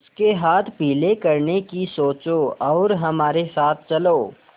उसके हाथ पीले करने की सोचो और हमारे साथ चलो